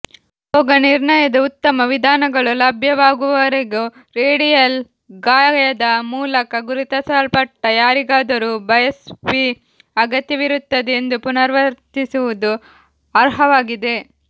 ರೋಗನಿರ್ಣಯದ ಉತ್ತಮ ವಿಧಾನಗಳು ಲಭ್ಯವಾಗುವವರೆಗೂ ರೇಡಿಯಲ್ ಗಾಯದ ಮೂಲಕ ಗುರುತಿಸಲ್ಪಟ್ಟ ಯಾರಿಗಾದರೂ ಬಯಾಪ್ಸಿ ಅಗತ್ಯವಿರುತ್ತದೆ ಎಂದು ಪುನರಾವರ್ತಿಸುವುದು ಅರ್ಹವಾಗಿದೆ